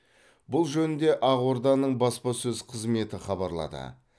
бұл жөнінде ақорданың баспасөз қызметі хабарлады